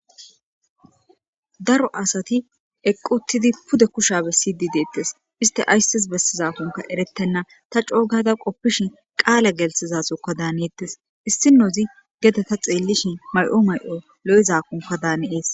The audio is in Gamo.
Daro asati eqqi uththidi pudde kushshiya bessididdettes issiti ayissis bessidakkoka erettenna ta c'ogadda qoffishen qalla gelisizokka danettes issinozzi gedde ta dhelishshen mayo mayo loyzakkokka de'es.